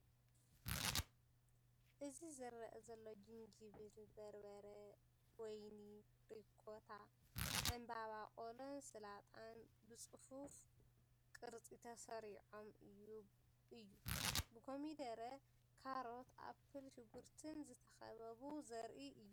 እዚ ዝረአ ዘሎ ጅንጅብል፡ በርበረ፡ ወይኒ፡ ሪኮታ፡ ዕምባባ ቆሎን ሰላጣን ብጽፉፍ ቅርጺ ተሰሪዖም እዩ። ብኮሚደረ፡ ካሮት፡ ኣፕልን ሽጉርትን ዝተኸበቡ ዘርኢ'ዩ።